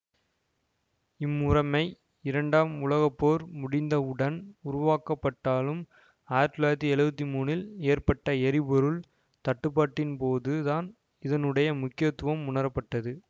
இம்முறைமை இரண்டாம் உலக போர் முடிந்தவுடன் உருவாக்கப்பட்டாலும் ஆயிரத்தி தொள்ளாயிரத்தி எழுவத்தி மூன்றில் ஏற்பட்ட எரிபொருள் தட்டுபாடின்போதுதான் இதனுடைய முக்கியத்துவம் உணரப்பட்டது